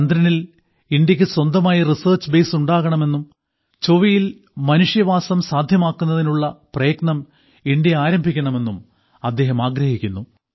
ചന്ദ്രനിൽ ഇന്ത്യയ്ക്ക് സ്വന്തമായി റിസർച്ച് ബേയ്സ് ഉണ്ടാകണമെന്നും ചൊവ്വയിൽ മനുഷ്യവാസം സാധ്യമാക്കുന്നതിനുള്ള പ്രയത്നം ഇന്ത്യ ആരംഭിക്കണമെന്നും അദ്ദേഹം ആഗ്രഹിക്കുന്നു